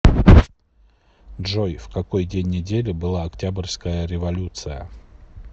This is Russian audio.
джой в какой день недели была октябрьская революция